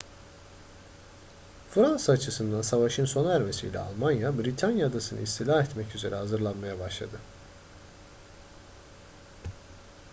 fransa açısından savaşın sona ermesiyle almanya britanya adasını istila etmek üzere hazırlanmaya başladı